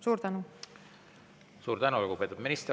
Suur tänu, lugupeetud minister!